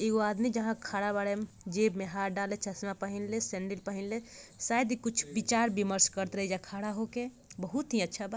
एगो आदमी जहां खड़ा बाड़े उम्म जेब में हाथ देले चश्मा पहिनले सैंडिल पहिनले शायद इ कुछ विचार विमर्श करत रहे एजा खड़ा होके बहुत ही अच्छा बा।